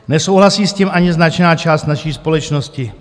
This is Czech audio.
Nesouhlasí s tím ani značná část naší společnosti.